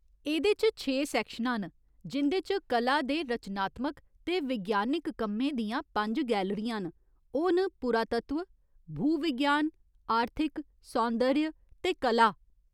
एह्दे च छे सैक्शनां न जिं'दे च कला दे रचनात्मक ते विज्ञानक कम्में दियां पंज गैलरियां न, ओह् न पुरातत्व, भूविज्ञान, आर्थिक, सौन्दर्य ते कला ।